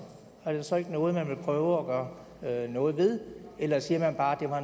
er det så ikke noget man vil prøve at gøre noget ved eller siger man bare